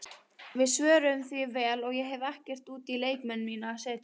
Við svöruðum því vel og ég hef ekkert út á leikmenn mína að setja.